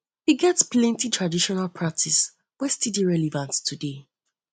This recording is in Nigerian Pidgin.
e get plenty traditional practice wey still dey relevant today